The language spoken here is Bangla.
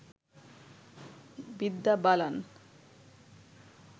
বিদ্যা বালান